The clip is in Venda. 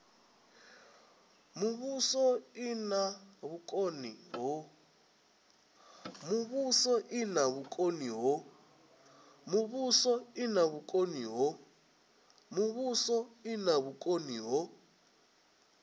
muvhuso i na vhukoni ho